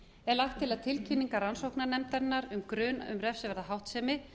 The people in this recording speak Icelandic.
er lagt til að tilkynningar rannsóknarnefndarinnar um grun um refsiverða háttsemi